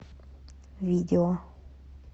видео